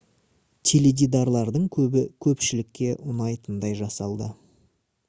теледидарлардың көбі көпшілікке ұнайтындай жасалды